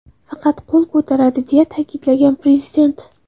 Faqat qo‘l ko‘taradi”, - deya ta’kidlagan prezident.